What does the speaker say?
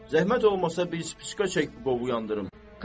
Zəhmət olmasa bir pipişka çək qovu yandırım.